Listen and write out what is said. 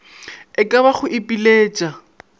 e ka ba go ipiletša